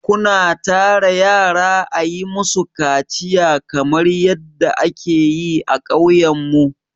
Ku na tara yara a yi ma su kaciya kamar yadda a ke yi a ƙauyen mu?